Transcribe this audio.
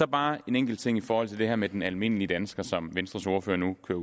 bare en enkelt ting i forhold til det her med den almindelige dansker som venstres ordfører nu kører